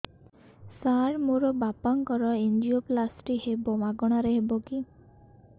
ସାର ମୋର ବାପାଙ୍କର ଏନଜିଓପ୍ଳାସଟି ହେବ ମାଗଣା ରେ ହେବ କି